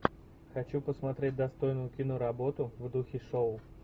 хочу посмотреть достойную киноработу в духе шоу